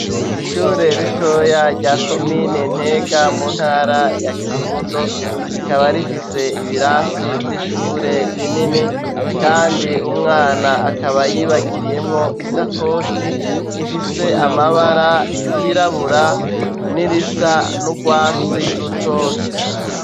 Ishure ritoya rya komine Ntega mu ntara ya Kirundo, rikaba rifise ibirasi vy'ishure binini kandi umwana akaba yibagiriyemwo isakoshi ifise amabara yirabura n'irisa n'urwatsi rutoto.